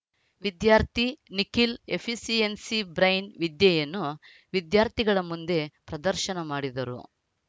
ವಿದ್ಯಾರ್ಥಿ Nikhil efficiency brain ವಿದ್ಯೆಯನ್ನು ವಿದ್ಯಾರ್ಥಿಗಳ ಮುಂದೆ ಪ್ರದರ್ಶನ ಮಾಡಿದರು